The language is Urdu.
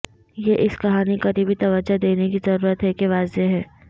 یہ اس کہانی قریبی توجہ دینے کی ضرورت ہے کہ واضح ہے